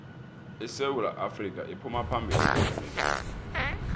isewu afrika iphuma phambili kwezemidlalo